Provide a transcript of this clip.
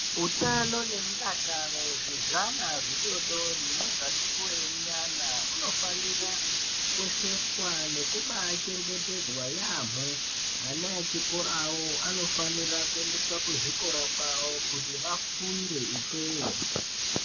Utano ne mudakaro zve zvana zvidodori nezvati kurei nyana uno fanira kukosheswa ngekumbai chengetedzwa yamho ana echikorawo anofanirwa kuenda ku chikora kwawo kuti afunde ikweyo.